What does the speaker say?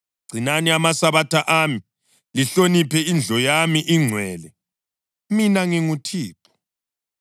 Gcinani amaSabatha ami, lihloniphe indlu yami engcwele. Mina nginguThixo.